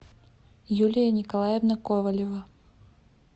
юлия николаевна ковалева